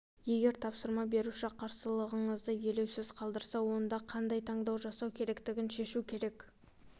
егер тапсырма беруші қарсылығыңызды елеусіз қалдырса онда қандай таңдау жасау керектігін шешу керек